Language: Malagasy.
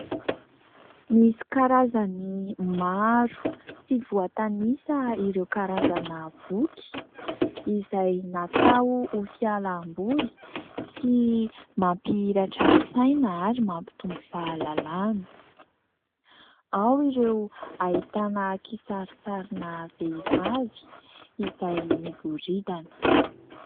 Misy karazany maro tsy voatanisa ireo karazana boky izay natao ho fialamboly sy mampihiratra ny saina ary mampitombo fahalalana. Ao ny ahitana kisarisarina vehivavy izay miboridana.